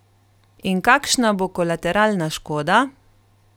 In kakšna bo kolateralna škoda?